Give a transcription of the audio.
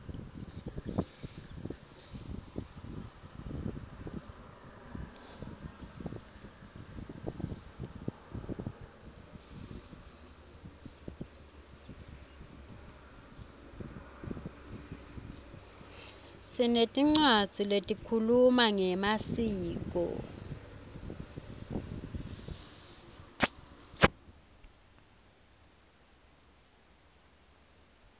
sinetincwadzi lehkhuluma ngemaskco